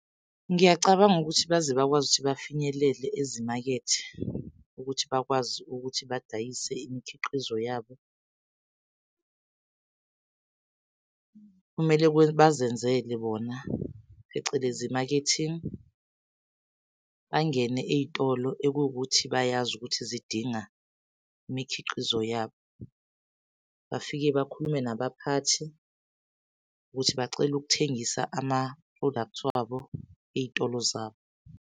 Ngiyacabanga ukuthi baze bakwazi ukuthi bafinyelele ezimakethe ukuthi bakwazi ukuthi badayise imikhiqizo yabo , kumele bazenzele bona phecelezi i-marketing. Bangene ey'tolo ekuwukuthi bayazi ukuthi zidinga imikhiqizo yabo. Bafike bakhulume nabaphathi ukuthi bacela ukuthengisa ama-products wabo iy'tolo zabo.